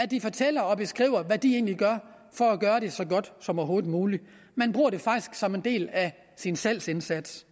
de fortæller og beskriver hvad de egentlig gør for at gøre det så godt som overhovedet muligt man bruger det faktisk som en del af sin salgsindsats